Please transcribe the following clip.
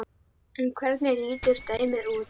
En hvernig lítur dæmið út?